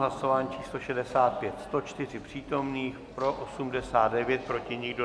Hlasování číslo 65, 104 přítomných, pro 89, proti nikdo.